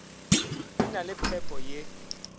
di na le phepo ye